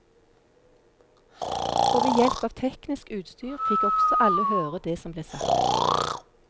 Og ved hjelp av teknisk utstyr fikk også alle høre det som ble sagt.